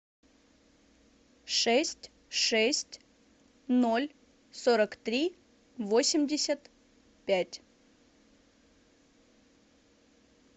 шесть шесть ноль сорок три восемьдесят пять